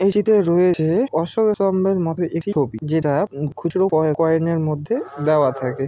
এই চিত্রে রয়েছে অশোক স্তম্ভের মতো একটা ছবি যেটা খুচরো কয়ে-কয়েনের মধ্যে দেওয়া থাকে।